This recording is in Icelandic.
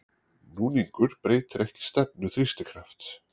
Núningur breytir ekki stefnu þrýstikrafts.